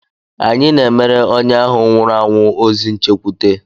Anyị na-emere onye ahụ nwụrụ anwụ ozi nchekwute.